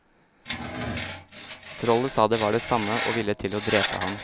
Trollet sa det var det samme, og ville til å drepe ham.